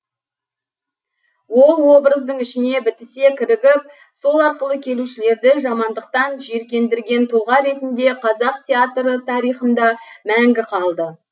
ол образдың ішіне бітісе кірігіп сол арқылы келушілерді жамандықтан жиіркендірген тұлға ретінде қазақ театры тарихында мәңгі қалды